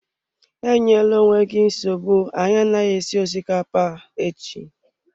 Enyela onwe gị nsogbu, anyị anaghị esi osikapa echi.